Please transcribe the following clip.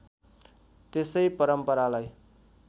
त्यसै परम्परालाई